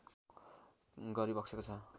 गरिबक्सेको छ